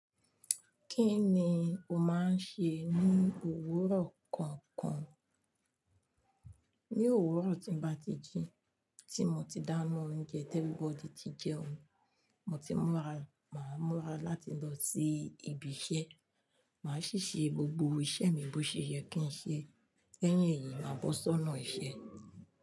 Kí ni o máa ń ṣe ní òwúrọ̀ kọ̀ọ̀kan? Ní òwúrọ̀ tí ń bá ti jí, tí mo ti dá iná oúnjẹ tí everybody ti jẹun, mo ti múra, màá múra láti lọ sí ibi iṣẹ́, màá ṣì ṣe gbogbo iṣẹ́ mi bó ṣe yẹ kí n ṣe, lẹ́yìn èyí màá bọ́ sọ́nà iṣẹ́